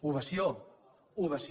ovació ovació